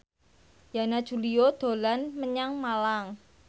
Yana Julio dolan menyang Malang